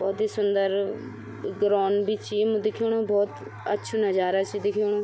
बहौत ही सुन्दर ग्राउंड भी च यिम दिखेणु बहौत अछू नजारा च दिखेणु।